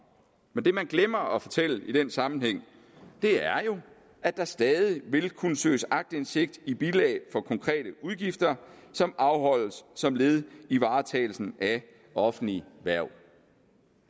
men det man glemmer at fortælle i den sammenhæng er jo at der stadig vil kunne søges aktindsigt i bilag for konkrete udgifter som afholdes som led i varetagelsen af offentlige hverv